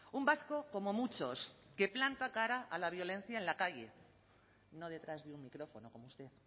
un vasco como muchos que planta cara a la violencia en la calle no detrás de un micrófono como usted